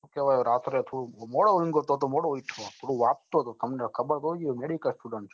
રાત્રે મળો થોડું મોડું ઉઘસો થોડી વાત કરીએ તમને ખબર હોય medicalstudent